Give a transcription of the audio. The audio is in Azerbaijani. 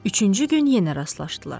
Üçüncü gün yenə rastlaşdılar.